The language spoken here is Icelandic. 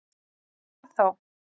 Og hvað þá?